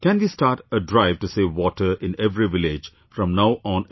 Can we start a drive to save water in every village from now on itself